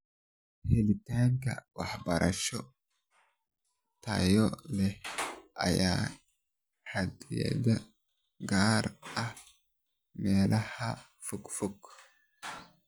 Helitaanka waxbarasho tayo leh ayaa xaddidan, gaar ahaan meelaha fogfog.